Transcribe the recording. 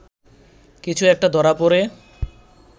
কিছু একটা ধরা পড়ে